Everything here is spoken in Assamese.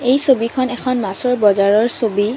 এই ছবিখন এখন মাছৰ বজাৰৰ ছবি।